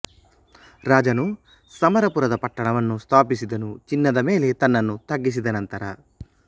ರಾಜನು ಸಮರಪುರದ ಪಟ್ಟಣವನ್ನು ಸ್ಥಾಪಿಸಿದನು ಚಿನ್ನದ ಮೇಲೆ ತನ್ನನ್ನು ತಗ್ಗಿಸಿದ ನಂತರ